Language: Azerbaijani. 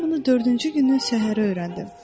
Mən bunu dördüncü günün səhəri öyrəndim.